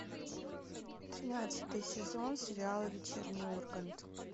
тринадцатый сезон сериала вечерний ургант